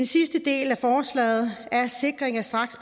sidste del af forslaget